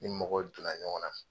Ni mɔgɔw donna ɲɔgɔn na